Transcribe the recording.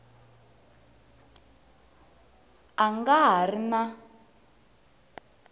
a nga ha ri na